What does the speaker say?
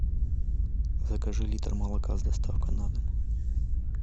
закажи литр молока с доставкой на дом